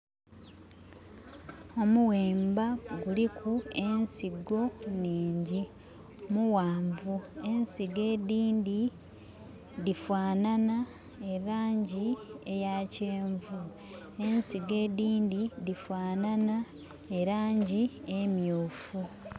Omuwemba guliku ensigo nningi, muwanvu. Ensigo edindi difanhanha e langi eya kyenvu, ensigo edindi difanhanha e langi emyufu